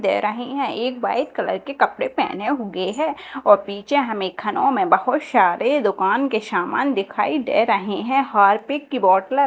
दे रही है एक वाइट कलर के कपड़े पहने हुए है और पीछे हमें खनों में बहुत सारे दुकान के सामान दिखाई दे रहे हैं हार्पिक की बॉटलर --